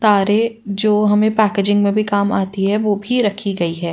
तारे जो हमे जो पैकेजिंग में भी काम आती हैं वो भी रखी गई हैं।